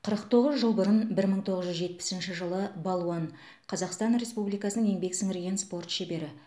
қырық тоғыз жыл бұрын бір мың тоғыз жүз жетпісінші жылы балуан қазақстан республикасының еңбек сіңірген спорт шебері